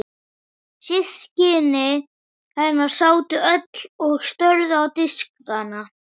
Systkini hennar sátu öll og störðu á diskana sína.